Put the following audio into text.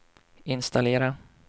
installera